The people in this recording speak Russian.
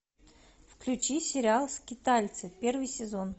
включи сериал скитальцы первый сезон